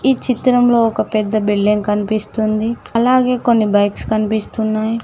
ఈ చిత్రంలో ఒక పెద్ద బిల్డింగ్ కనిపిస్తుంది. అలాగే కొన్ని బైక్స్ కనిపిస్తున్నాయ్.